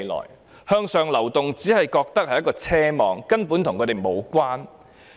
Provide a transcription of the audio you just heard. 市民認為向上流動只是一種奢望，與自己無關。